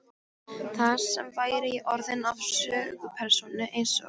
Þar með væri ég orðinn að sögupersónu einsog